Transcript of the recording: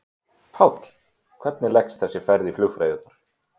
Páll: Hvernig leggst þessi ferð í flugfreyjurnar?